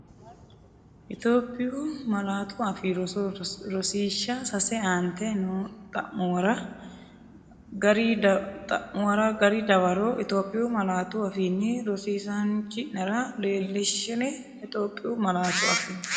Itophiyu Malaatu Afii Roso Rosiishsha Sase Aante noo xa’muwara gari dawaro Itophiyu malaatu afiinni rosi- isaanchi’nera leellishshe Itophiyu Malaatu Afii.